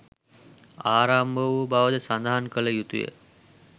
ආරම්භ වූ බවද සඳහන් කළ යුතු ය.